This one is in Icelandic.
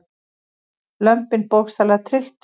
Lömbin bókstaflega trylltust.